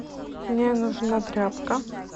мне нужна тряпка